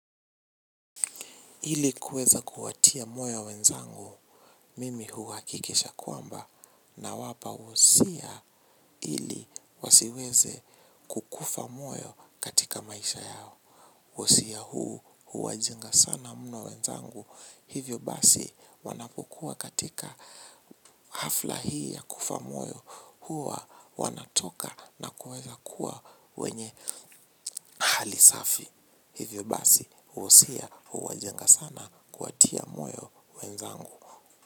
Ili kuweza kuwatia moyo wenzangu, mimi huwa kikisha kwamba nawapa usia ili wasiweze kukufa moyo katika maisha yao. Usia huu huwajenga sana muno wenzangu, hivyo basi wanapukua katika hafla hii ya kufa moyo huwa wanatoka na kuweza kuwa wenye hali safi. Hivyo basi uusia uwajenga sana kuatia moyo wenzaangu.